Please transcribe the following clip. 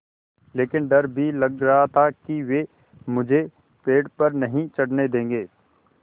लेकिन डर भी लग रहा था कि वे मुझे पेड़ पर नहीं चढ़ने देंगे